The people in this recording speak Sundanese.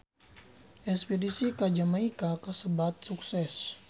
Espedisi ka Jamaika kasebat sukses